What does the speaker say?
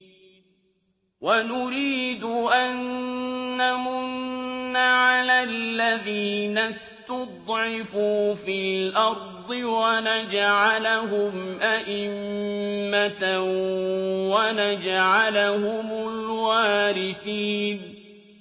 وَنُرِيدُ أَن نَّمُنَّ عَلَى الَّذِينَ اسْتُضْعِفُوا فِي الْأَرْضِ وَنَجْعَلَهُمْ أَئِمَّةً وَنَجْعَلَهُمُ الْوَارِثِينَ